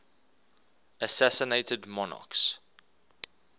assassinated monarchs